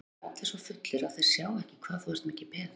Þarna eru allir svo fullir að þeir sjá ekki hvað þú ert mikið peð.